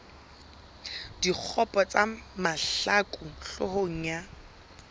dikgopo tsa mahlaku hloohong ya